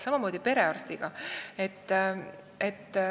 Samamoodi on perearstiga.